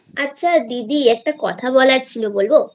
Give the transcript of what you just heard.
আচ্ছা দিদি একটা কথা বলার ছিল বলবো?